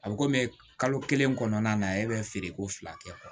A bɛ komi kalo kelen kɔnɔna na e bɛ feereko fila kɛ